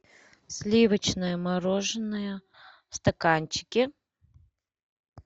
сливочное мороженое в стаканчике